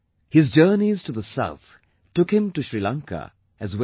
His journeys to the south took him to Sri Lanka, as well